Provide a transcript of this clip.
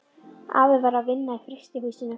Afi var að vinna í frystihús- inu.